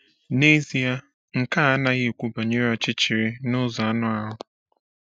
N’ezie, nke a anaghị ekwu banyere ọchịchịrị n’ụzọ anụ ahụ.